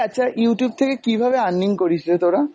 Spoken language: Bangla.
এই আচ্ছা Youtube থেকে কীভাবে earning করিস রে তোরা?